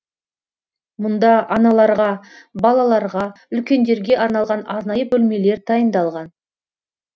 мұнда аналарға балаларға үлкендерге арналған арнайы бөлмелер дайындалған